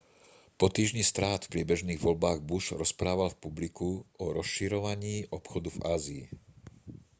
po týždni strát v priebežných voľbách bush rozprával publiku o rozširovaní obchodu v ázii